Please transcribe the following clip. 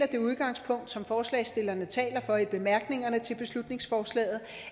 det udgangspunkt som forslagsstillerne taler for i bemærkningerne til beslutningsforslaget